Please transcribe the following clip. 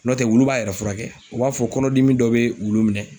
N'o tɛ wulu b'a yɛrɛ furakɛ, o b'a fɔ kɔnɔdimi dɔ bɛ wulu minɛ.